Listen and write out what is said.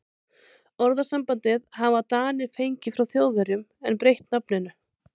Orðasambandið hafa Danir fengið frá Þjóðverjum en breytt nafninu.